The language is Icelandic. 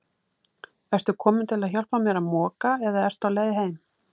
Ertu kominn til að hjálpa mér að moka eða ertu á leið heim?